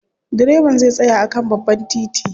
Direban zai tsaya a kan babban titi.